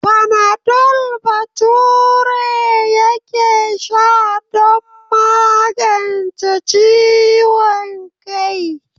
Fanadol Bature yake sha don magance ciwon kai.